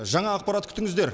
жаңа ақпарат күтіңіздер